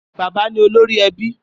Bàbá ni órì èbì